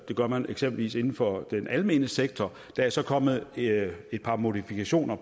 det gør man eksempelvis inden for den almene sektor der er så kommet et par modifikationer af